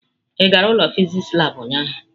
Ị gara ụlọ fịsịsị labụ ụnyahụ?